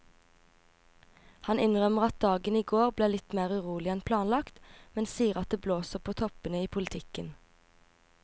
Han innrømmer at dagen i går ble litt mer urolig enn planlagt, men sier at det blåser på toppene i politikken.